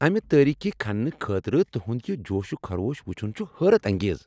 اَمِہ تٲریخی کھننہٕ خٲطرٕ تُہند یِہ جوش و خروش وٕچھن چھ حیرت انگیز ۔